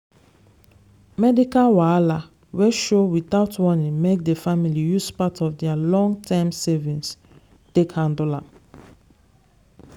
medical wahala wey show without warning make the family use part of their long-term savings take handle am.